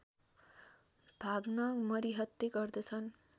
भाग्न मरिहत्ते गर्दछन्